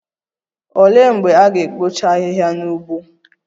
Olee mgbe a ga-ekpocha ahịhịa n'ugbo?